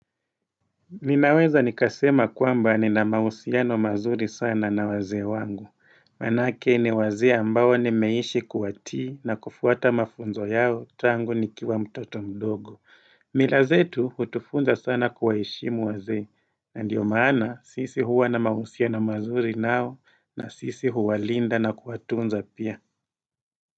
Ninaweza nikasema kwamba ni na mahusiano mazuri sana na wazee wangu. Manake ni wazee ambao nimeishi kuatii na kufuata mafunzo yao tangu nikiwa mtoto mdogo. Mila zetu hutufunza sana kuwaheshimu wazee. Na ndiyo maana sisi huwa na mausiano mazuri nao na sisi huwalinda na kuatunza pia.